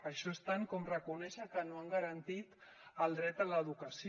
això és tant com reconèixer que no han garantit el dret a l’educació